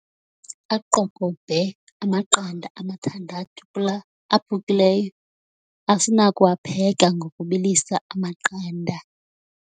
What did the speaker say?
Aqokobhe amaqanda amathandathu kula aphukile asinakuwapheka ngokubilisa amaqanda.